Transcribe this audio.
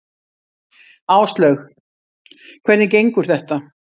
Áslaug: Hvernig gengur þetta?